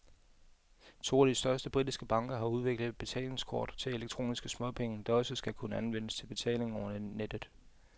To af de største britiske banker har udviklet et betalingskort til elektroniske småpenge, der også skal kunne anvendes til betaling over nettet.